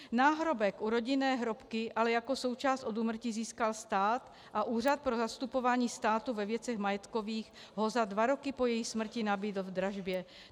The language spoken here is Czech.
Náhrobek u rodinné hrobky ale jako součást od úmrtí získal stát a Úřad pro zastupování státu ve věcech majetkových ho za dva roky po její smrti nabídl v dražbě.